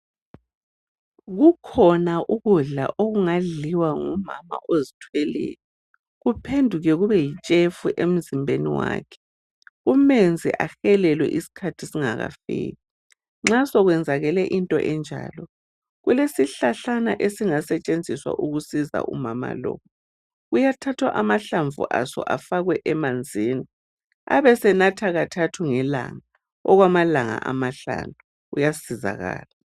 Kukhona ukudla okungadliwa ngumama ozithweleyo kuphenduke kube yitshefu emzimbeni wakhe. Kumenze ahelwe isikhathi singakafiki. Nxa sekwenzakale into enjalo kulesihlahlana ezingasetshenziswa ukusiza umama lo. Kuyathathwa amanzi aso afakwe emanzini abesethatha kathathu ngelanga, amalanga amahlanu uyasizakala.